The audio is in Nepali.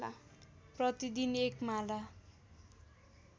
प्रतिदिन एक माला